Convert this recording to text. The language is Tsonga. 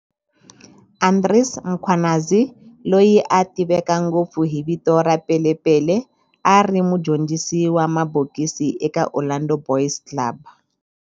Andries Mkhwanazi, loyi a tiveka ngopfu hi vito ra Pele Pele, a ri mudyondzisi wa mabokisi eka Orlando Boys Club.